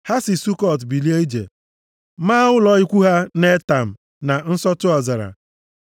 Ha si Sukọt bilie ije, maa ụlọ ikwu ha na Etam, na nsọtụ ọzara.